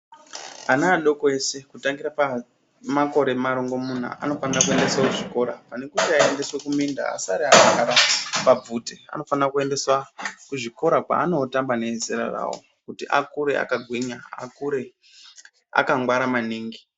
Ana adoko ese kutangira pamakore marongomuna anofanira kuendeswa kuzvikora pane kuti aendeswe kuminda asare akagare pabvute anofanira kuendeswa kuzvikora kwaanotamba neezera rawo kuti akure akagwinya akure akangwara maningi